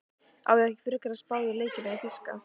Á ég ekki frekar að spá í leikina í þýska?